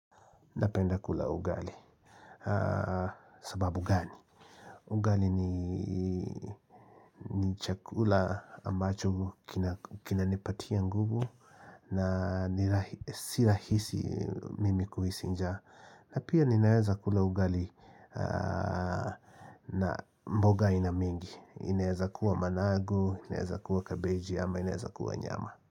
Napenda kula ugali sababu gani? Ugali ni chakula ambacho kina nipatia nguvu na si rahisi mimi kuhisi njaa na pia ninaeza kula ugali na mboga aina mingi inaeza kuwa managu, inaeza kuwa kabeji ama, inaeza kuwa nyama.